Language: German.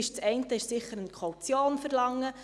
Das eine ist sicher, eine Kaution zu verlangen.